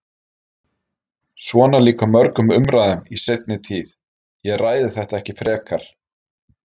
Svona lýkur mörgum umræðum í seinni tíð: Ég ræði þetta ekki frekar.